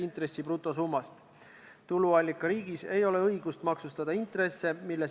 Kindlasti tegutseb juhatus oma kõige parema äranägemise ning meie kodu- ja töökorra seaduse alusel.